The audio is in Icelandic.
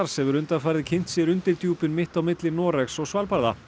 hefur undanfarið kynnt sér undirdjúpin mitt á milli Noregs og Svalbarða